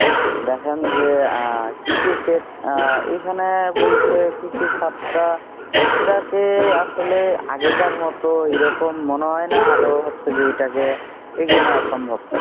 দেখেন যে আহ কৃষি খেত আহ এখানে বলতে কৃষি খাত টা এটাকে আসলে আগেকার মত এরকম মনে হয় না আরো হচ্ছে যে এটাকে এগিয়ে নেওয়া সম্ভব